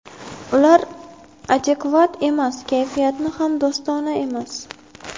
Ular adekvat emas, kayfiyati ham do‘stona emas.